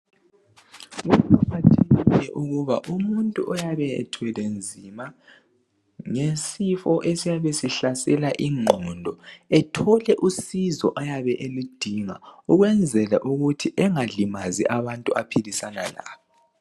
Kuqakathekile ukuba umuntu oyabe ethwele nzima ngesifo esiyabe sihlasela ingqondo ethole usizo eyabe eludinga ukwenzela ukuthi engalimazi abantu aphilisana labo.